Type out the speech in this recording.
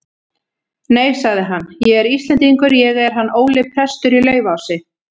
Nei, sagði hann,-ég er Íslendingur, ég er hann Óli prestur í Laufási.